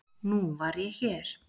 Nú var ég hér.